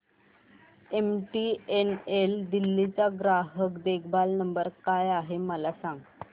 MTNL Delhi चा ग्राहक देखभाल नंबर काय आहे मला सांग